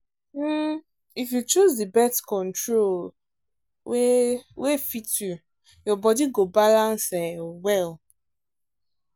um if you choose the birth control um wey fit you your body go balance um well.